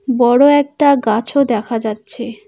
বড় একটা গাছও দেখা যাচ্ছে।